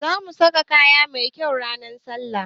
Zamu sa kaya mai kyau ran sallah